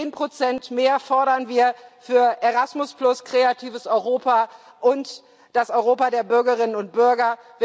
Zehn Prozent mehr fordern wir für Erasmus, Kreatives Europa und das Europa der Bürgerinnen und Bürger.